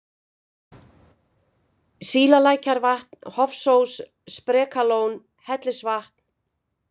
Sílalækjarvatn, Hofsós, Sprekalón, Hellisvatn